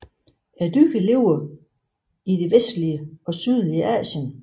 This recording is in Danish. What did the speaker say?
Dyret lever i det vestlige og sydlige Asien